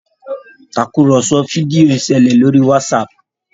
Tàkùrọ̀sọ fídíò nṣele lórí Whatsapp